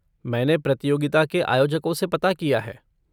मैंने प्रतियोगिता के आयोजकों से पता किया है।